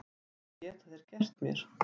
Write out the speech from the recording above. Hvað geta þeir gert mér?